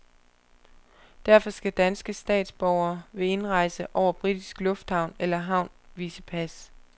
Derfor skal danske statsborgere ved indrejse over britisk lufthavn eller havn vise pas.